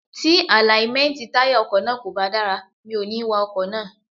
Tí àláímẹ́ntì táyà ọkọ̀ náà kò bá dára, mi ò ní wa ọkọ̀ náà.